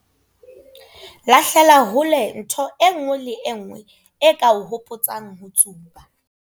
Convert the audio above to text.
Lahlela hole ntho e nngwe le e nngwe e ka o hopotsang ho tsuba.